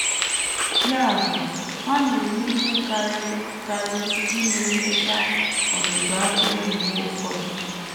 Ya bụ, ha na - eme ihe karịrị karịrị ime nleta ọzụzụ atụrụ mgbe ụfọdụ.